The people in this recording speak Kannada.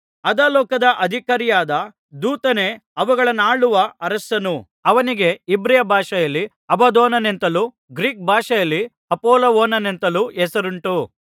ಅಧೋಲೋಕದ ಅಧಿಕಾರಿಯಾದ ದೂತನೇ ಅವುಗಳನ್ನಾಳುವ ಅರಸನು ಅವನಿಗೆ ಇಬ್ರಿಯ ಭಾಷೆಯಲ್ಲಿ ಅಬದ್ದೋನನೆಂತಲೂ ಗ್ರೀಕ್ ಭಾಷೆಯಲ್ಲಿ ಅಪೊಲ್ಲುವೋನನೆಂತಲೂ ಹೆಸರುಂಟು